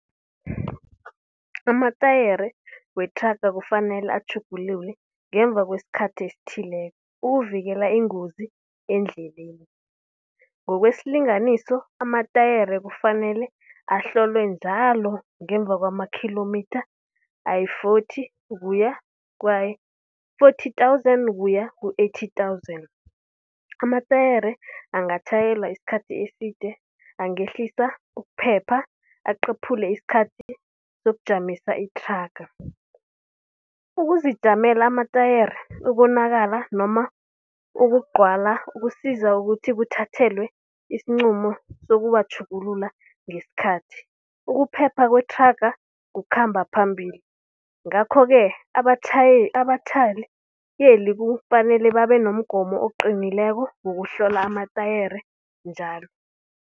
Amatayere wethraga kufanele atjhugululwe ngemva kwesikhathi esithileko, ukuvikela iingozi endleleni. Ngokwesilinganiso amatayere kufanele ahlolwe njalo ngemva kwama-kilometre ayi-forty ukuya kwayi-forty thousand ukuya ku-eighty thousand. Amatayere angatjhayelwa isikhathi eside, angehlisa ukuphepha, aqephule isikhathi sokujamisa ithraga. Ukuzijamela amatayere ubonakala noma ukugcwala kusiza ukuthi kuthathelwe isinqumo sokuwatjhugulula ngesikhathi. Ukuphepha kwethraga kukhamba phambili, ngakho-ke abatjhayeli kufanele babe nomgomo oqinileko wokuhlola amatayere njalo.